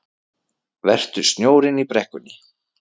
Vertu snjórinn í brekkunni